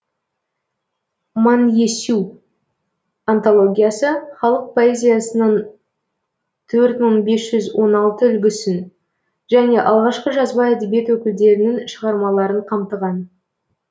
манъесю антологиясы халық поэзиясының төрт мың бес жүз он алтыншы үлгісін және алғашқы жазба әдебиет өкілдерінің шығармаларын қамтыған